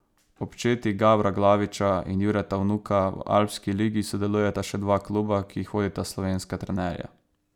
Ob četi Gabra Glaviča in Jureta Vnuka v Alpski ligi sodelujeta še dva kluba, ki jih vodita slovenska trenerja.